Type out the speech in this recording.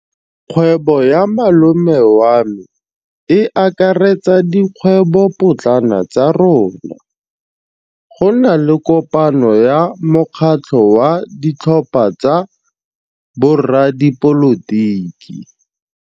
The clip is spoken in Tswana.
Kgwêbô ya malome wa me e akaretsa dikgwêbôpotlana tsa rona. Go na le kopanô ya mokgatlhô wa ditlhopha tsa boradipolotiki.